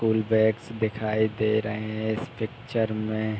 Full bags दिखाई दे रहे हैं इस पिक्चर में।